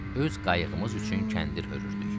Öz qayıqımız üçün kəndir hörürdük.